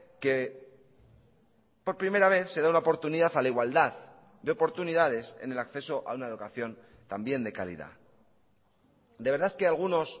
que por primera vez se da la oportunidad a la igualdad de oportunidades en el acceso a una educación también de calidad de verdad que algunos